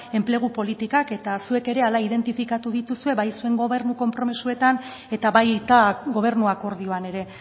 enplegu politikak eta zuek ere zuek identifikatu dituzue bai zuen gobernu konpromezuetan eta baita gobernu akordioan ere